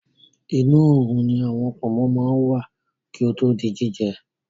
Inu oòrùn ni awọ pọ̀nmó máa ń wà kí ó tó di jíjẹ